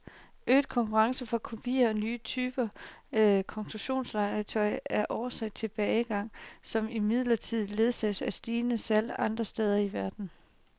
Øget konkurrence fra kopier og nye typer konstruktionslegetøj er årsag til tilbagegangen, som imidlertid ledsages af stigende salg andre steder i verden.